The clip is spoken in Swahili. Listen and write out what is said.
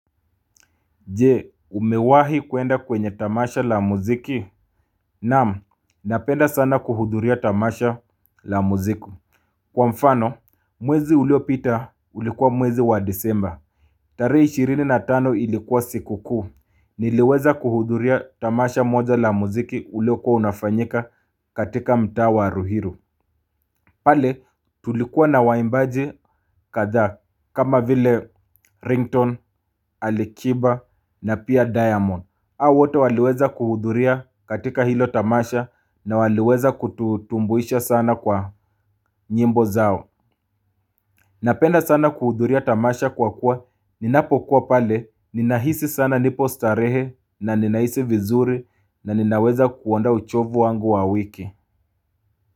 Je umewahi kuenda kwenye tamasha la muziki. Naam napenda sana kuhudhuria tamasha la muziki. Kwa mfano mwezi uliopita ulikuwa mwezi wa disemba. Tarehe ishirini na tano ilikuwa siku kuu. Niliweza kuhudhuria tamasha moja la muziki uliokuwa unafanyika katika mtaa wa ruiru. Pale tulikuwa na waimbaji kadha kama vile ringtone alikiba na pia diamond. Hawa wote waliweza kuhudhuria katika hilo tamasha na waliweza kututumbuisha sana kwa nyimbo zao. Napenda sana kuhudhuria tamasha kwa kuwa ninapokuwa pale ninahisi sana nipo starehe na ninahisi vizuri na ninaweza kuondoa uchovu wangu wa wiki.